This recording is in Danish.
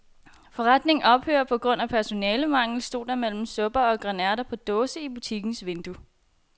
Forretningen ophører på grund af personalemangel, stod der mellem supper og grønærter på dåse i butikkens vindue.